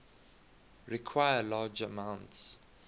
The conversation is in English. require large amounts